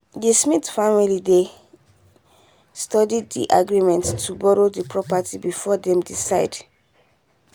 the smith family dey study the agreement to borrow the property before them decide